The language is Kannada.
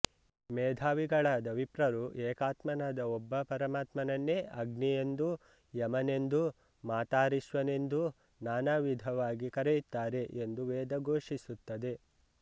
ಮೇಧಾವಿಗಳಾದ ವಿಪ್ರರು ಏಕಾತ್ಮನಾದ ಒಬ್ಬ ಪರಮಾತ್ಮನನ್ನೇ ಅಗ್ನಿಯೆಂದೂ ಯಮನೆಂದೂ ಮಾತರಿಶ್ವನೆಂದೂ ನಾನಾ ವಿಧವಾಗಿ ಕರೆಯುತ್ತಾರೆ ಎಂದು ವೇದ ಘೋಷಿಸುತ್ತದೆ